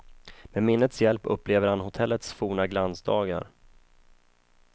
Med minnets hjälp upplever han hotellets forna glansdagar.